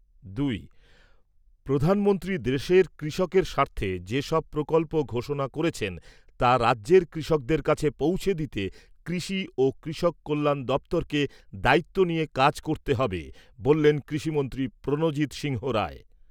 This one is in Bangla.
দুই। প্রধানমন্ত্রী দেশের কৃষকের স্বার্থে যেসব প্রকল্প ঘোষণা করেছেন তা রাজ্যের কৃষকদের কাছে পৌঁছে দিতে কৃষি ও কৃষক কল্যাণ দপ্তরকে দায়িত্ব নিয়ে কাজ করতে হবে, বললেন কৃষিমন্ত্রী প্রণজিৎ সিংহ রায়।